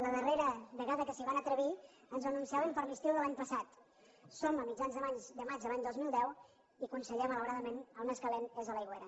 la darrera vegada que s’hi van atrevir ens ho anunciaven per a l’estiu de l’any passat som a mitjans de maig de l’any dos mil deu i conseller malauradament el més calent és a l’aigüera